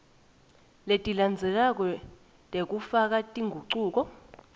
letilandzelako tekufaka tingucuko